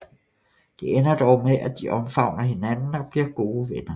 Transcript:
Det ender dog med at de omfavner hinanden og bliver gode venner